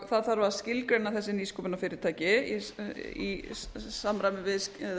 það þarf að skilgreina þessi nýsköpunarfyrirtæki í samræmi við